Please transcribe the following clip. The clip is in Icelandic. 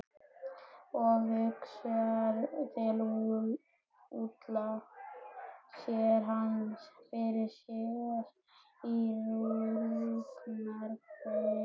Og hugsar til Úlla, sér hann fyrir sér í rúgbrauðinu.